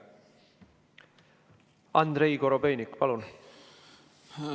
Andrei Korobeinik, palun!